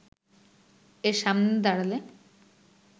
এর সামনে দাঁড়ালে